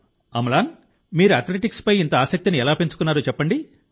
అమ్లాన్ మీరు అథ్లెటిక్స్పై ఇంత ఆసక్తిని ఎలా పెంచుకున్నారో చెప్పండి